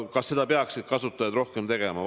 Kas seda peaksid kasutajad rohkem tegema?